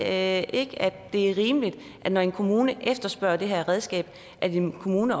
at det er rimeligt når en kommune efterspørger det her redskab at en kommune